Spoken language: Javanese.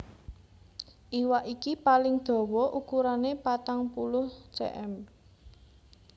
Iwak iki paling dawa ukurané patang puluh cm